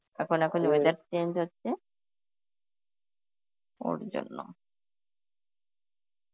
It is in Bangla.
এখন এখন weather change হচ্ছে, ওর জন্য.